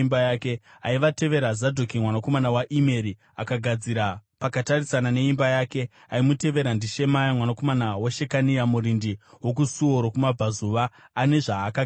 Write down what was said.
Aivatevera, Zadhoki mwanakomana waImeri akagadzira pakatarisana neimba yake. Aimutevera ndiShemaya mwanakomana waShekania, murindi wokuSuo rokuMabvazuva, ane zvaakagadzira.